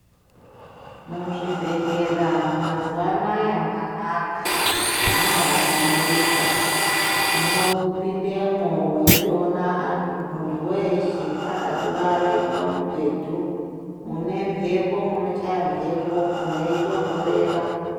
Muzvibhedhlera mazuwa anaya manaka mambahlamburika unopindemo weitoona muntu weshe akatorare pamubhedhu mune mbepo munochaye mbepu meitonhorera.